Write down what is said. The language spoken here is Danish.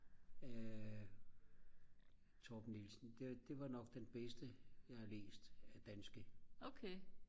Torben Nielsen det var nok den bedste jeg har læst af danske